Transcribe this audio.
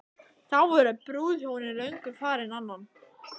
Þá voru brúðhjónin löngu farin annað.